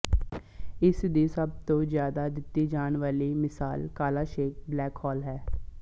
ਇਸ ਦੀ ਸਭ ਤੋਂ ਜਿਆਦਾ ਦਿੱਤੀ ਜਾਣ ਵਾਲੀ ਮਿਸਾਲ ਕਾਲ਼ਾ ਛੇਕ ਬਲੈਕ ਹੋਲ ਹੈ